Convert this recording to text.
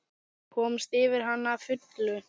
Komast yfir hana að fullu?